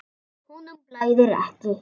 Honum blæðir ekki.